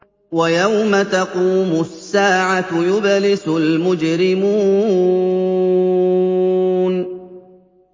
وَيَوْمَ تَقُومُ السَّاعَةُ يُبْلِسُ الْمُجْرِمُونَ